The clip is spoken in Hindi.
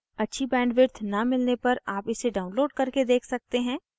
अच्छी bandwidth न मिलने पर आप इसे download करके देख सकते हैं